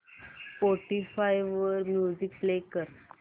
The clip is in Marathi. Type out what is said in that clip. स्पॉटीफाय वर म्युझिक प्ले कर